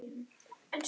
Ég leyfi mér að efast.